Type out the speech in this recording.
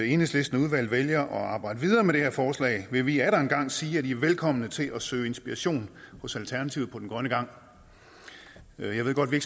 enhedslisten vælger at arbejde videre med det her forslag vil vi atter en gang sige at de er velkomne til at søge inspiration hos alternativet på den grønne gang jeg ved godt vi